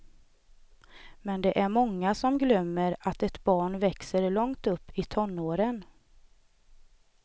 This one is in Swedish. Men det är många som glömmer att ett barn växer långt upp i tonåren.